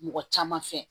Mɔgɔ caman fɛ